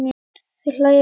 Þau hlæja bæði.